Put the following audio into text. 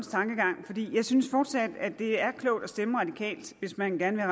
tankegang jeg synes fortsat at det er klogt at stemme radikalt hvis man gerne